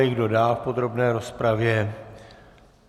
Kdo dál v podrobné rozpravě?